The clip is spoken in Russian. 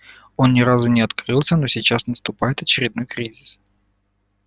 он ни разу не открылся но сейчас наступает очередной кризис